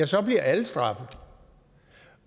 så bliver alle straffet